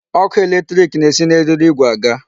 Ọkụ electric na-esi na eriri igwe aga.